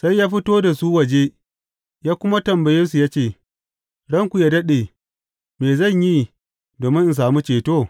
Sai ya fito da su waje ya kuma tambaye su ya ce, Ranku yă daɗe, me zan yi domin in sami ceto?